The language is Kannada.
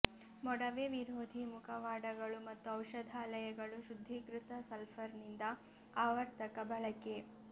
ಮೊಡವೆ ವಿರೋಧಿ ಮುಖವಾಡಗಳು ಮತ್ತು ಔಷಧಾಲಯಗಳು ಶುದ್ಧೀಕೃತ ಸಲ್ಫರ್ನಿಂದ ಆವರ್ತಕ ಬಳಕೆ